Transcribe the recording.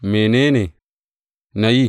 Mene ne na yi?